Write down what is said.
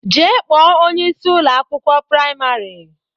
Jee kpọọ onyeisi Ụlọ akwụkwọ praịmarị!